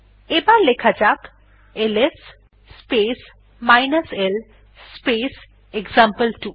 এবার লেখা যাক LS space l space example two